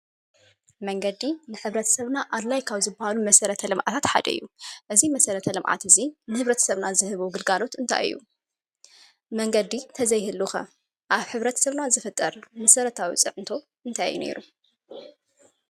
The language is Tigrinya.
መንገዲ ንሕብረተሰብና ኣድላይ ካብ ዝብሃሉ መሰረተ ልምዓት ሓደ እዩ። እዚ መሰረተ ልምዓት እዚ ንሕብረተሰብና ዝህቦ ግልጋሎት እንታይ እዩ? መንገዲ እንተዘይህሉ ኸ ኣብ ሕብረተሰብና ዝፍጠር መሰረታዊ ፅዕንቶ እንታይ እዩ ኔሩ?